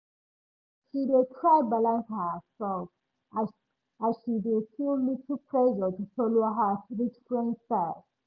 she dey try balance herself as as she dey feel little pressure to follow her rich friend style